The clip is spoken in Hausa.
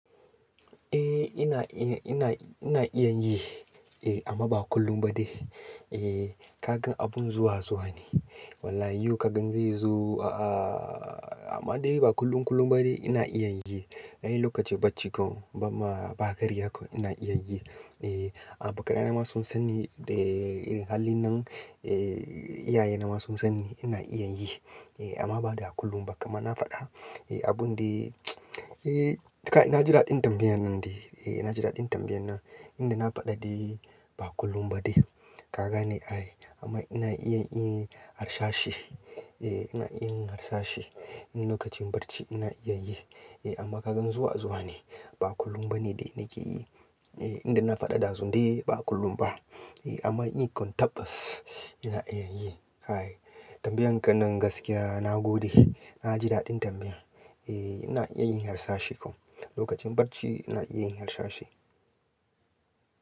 Eh ina iya, ina iya yi eh amma ba kullum ba de. Eh kaga abun zuwa zuwa ne. Wallahi yau ka gan zai zo a'a amma dai ba kullum kullum ba de ina iya yi. A lokacin bacci kau bamma ba karya kwai ina iya yi. Eh abikanai na ma sun sanni da irin halin nan. Eh iyaye na ma sun sanni ina iya yi amma ba da kullum ba. Kaman na faɗa abun de eh kai na ji daɗin tambayan nan dai. Eh ina ji daɗin tambayan nan inda na faɗa dai ba kullum ba de. Kaga ne ai amma ina iya yin harsashi. Eh ina iya yin harsashi. Lokacin barci ina iya yi amma kagan zuwa zuwa ne ba kullum ba ne dai nake yi. Eh inda na faɗa da su dai ba kullum ba amma in yi kwantabbas ina iya yi. Ai tambayan ka nan gaskiya na gode. Na ji daɗin tambaya. Eh ina iya yin harsashi kuma lokacin barci ina iya yin harsashi.